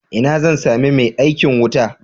Ina zan sami mai aikin wuta?